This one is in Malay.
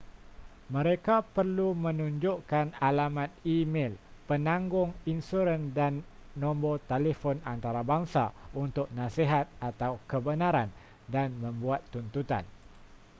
mereka perlu menunjukkan alamat e-mel penanggung insuran dan nombor telefon antarabangsa untuk nasihat/kebenaran dan membuat tuntutan